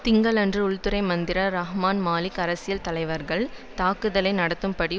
திங்களன்று உள்துறை மந்திர ரஹ்மான் மாலிக் அரசியல் தலைவர்கள் தாக்குதலை நடத்தும்படி